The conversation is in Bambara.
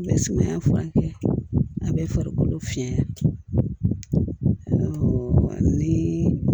I bɛ sumaya furakɛ a bɛ farikolo fiyɛ ni